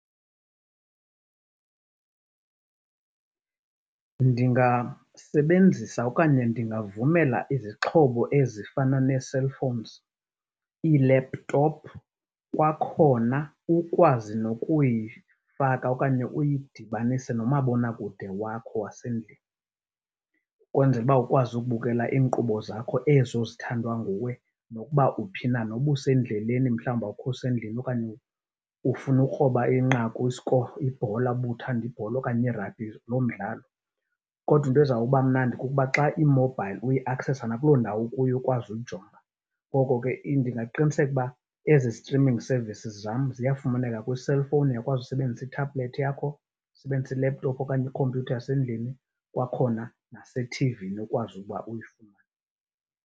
Ndingasebenzisa okanye ndingavumela izixhobo ezifana nee-cellphones, ii-laptop kwakhona ukwazi nokuyifaka okanye uyidibanise nomabonakude wakho wasendlini ukwenzela uba ukwazi ukubukela iinkqubo zakho ezithandwa nguwe nokuba uphi na. Noba usendleleni mhlawumbi awukho usendlini okanye ufuna ikroba inqaku, i-score, ibhola uba uthanda ibhola okanye ragbhi, loo mdlalo. Kodwa into ezawuba mnandi kukuba xa imobhayili uyiakhsesa nakuloo ndawo ukuyo ukwazi ukujonga. Ngoko ke ndingaqiniseka ukuba ezi streaming services zam ziyafumaneka kwi-cellphone, uyakwazi ukusebenzisa ithabhulethi yakho, usebenzise i-laptop okanye ikhompyutha yasendlini, kwakhona nasethivini ukwazi ukuba uyifumane.